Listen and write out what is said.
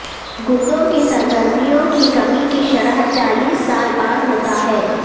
گردوں کی سرگرمیوں کی کمی کی شرح چالیس سال بعد ہوتا ہے